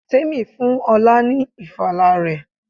Tèmi fún ọlá ni ìfala rẹ.